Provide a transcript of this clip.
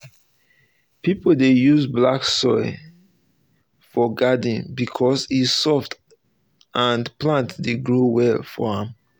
people dey use black soil use black soil for garden um because e soft and plant dey grow well for am.